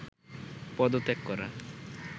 পদত্যাগ করা